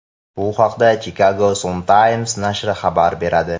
Bu haqda Chicago Sun-Times nashri xabar beradi .